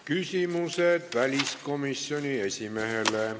Küsimused väliskomisjoni esimehele.